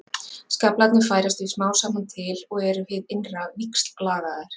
Skaflarnir færast því smám saman til og eru hið innra víxllagaðir.